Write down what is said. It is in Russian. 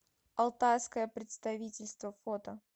алтайское представительство фото